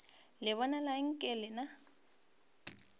le bonala nke le na